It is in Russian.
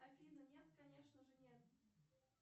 афина нет конечно же нет